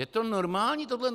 Je to normální, tohleto?